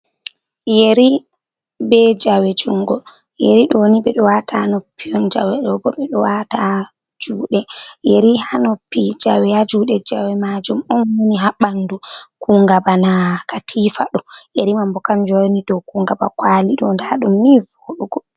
Yeri be jawe jungo, yeri ɗo ni ɓedo wata ha noppi on, jawe ɗo bo ɓeɗo wata ha juɗe yeri ha noppi jawe ha juɗe jawe majum on woni ha ɓandu kunga bana katifa ɗo yeri mam bo kam joni do kungaba kwali ɗo ndaɗum ni voɗugo.